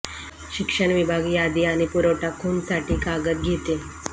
शिक्षण विभाग यादी आणि पुरवठा खूण साठी कागद घेते